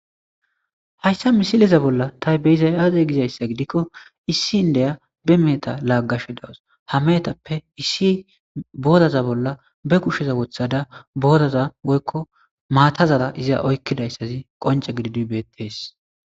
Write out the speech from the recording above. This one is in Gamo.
Haysa misileza bolla ta beyizays aaze gizaysa gidiko issi indiya be meheta laagashe dawus. Booraza bolla be kushe woththada booraza woyko maatazara gorpashe dawus.